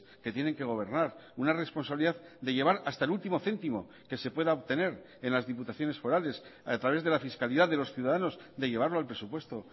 que tienen que gobernar una responsabilidad de llevar hasta el último céntimo que se pueda obtener en las diputaciones forales a través de la fiscalidad de los ciudadanos de llevarlo al presupuesto